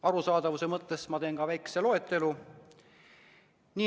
Arusaadavuse mõttes teen väikese loetelu.